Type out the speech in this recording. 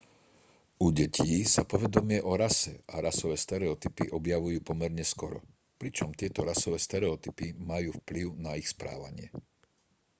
u detí sa povedomie o rase a rasové stereotypy objavujú pomerne skoro pričom tieto rasové stereotypy majú vplyv na ich správanie